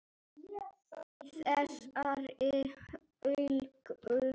Í þessari hálku?